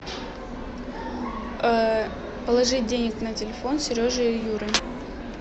положить денег на телефон сережи и юры